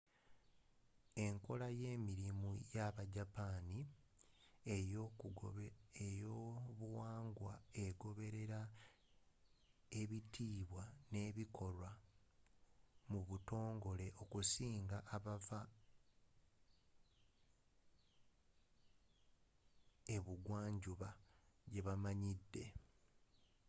enkola y'emirimu y'abajapaani ey'obuwangwa egoberera ebitiibwa n'ebikolwa mu butongole okusinga abava ebugwanjuba gye bamanyidde